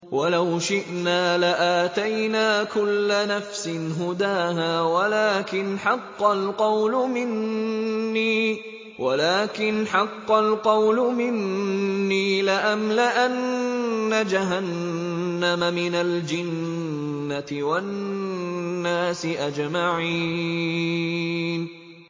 وَلَوْ شِئْنَا لَآتَيْنَا كُلَّ نَفْسٍ هُدَاهَا وَلَٰكِنْ حَقَّ الْقَوْلُ مِنِّي لَأَمْلَأَنَّ جَهَنَّمَ مِنَ الْجِنَّةِ وَالنَّاسِ أَجْمَعِينَ